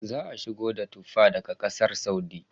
Za a shigo da Tuffa daga Ƙasar Saudi.